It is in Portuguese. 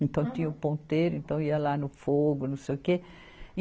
Então tinha o ponteiro, então ia lá no fogo, não sei o que.